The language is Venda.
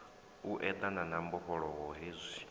u eḓana na mbofholowo hezwi